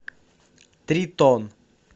тритон